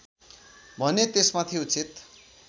भने त्यसमाथि उचित